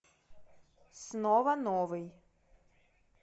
снова новый